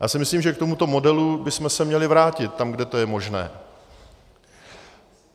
Já si myslím, že k tomuto modelu bychom se měli vrátit tam, kde to je možné.